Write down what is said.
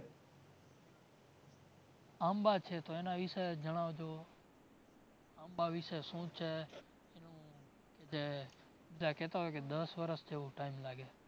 આંબા છે તો એના વિશે જણાવજો આંબા વિશે શું છે જે બધા કેતા હોય કે દસ વર્ષ જેવુ time લાગે